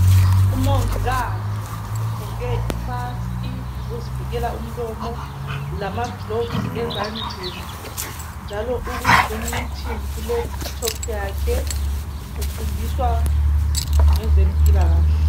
Umongikazi ugqoke i mask yokuzivikela umlomo lama gloves ezandleni njalo uku zoom meeting ku laptop yakhe ufundisa ngezempilakahle.